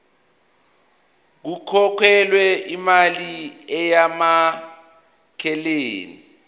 kukhokhelwe imali eyamukelekile